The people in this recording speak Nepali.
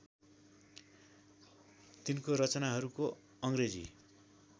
तिनको रचनाहरूको अङ्ग्रेजी